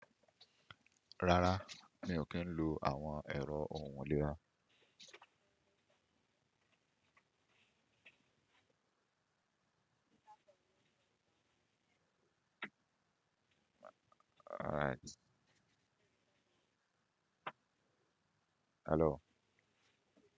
Rárá, mi ò kí ń lo àwọn ẹrọ òun ilera. All right. Hello.